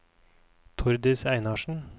Tordis Einarsen